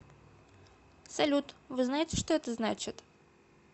салют вы знаете что это значит